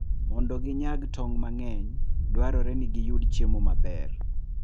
Mondo ginyag tong' mang'eny, dwarore ni giyud chiemo maber.